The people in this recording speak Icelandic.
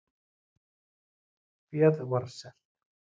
Féð var selt